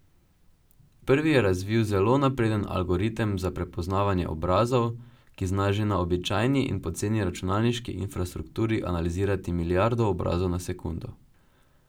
Prvi je razvil zelo napreden algoritem za prepoznavanje obrazov, ki zna že na običajni in poceni računalniški infrastrukturi analizirati milijardo obrazov na sekundo.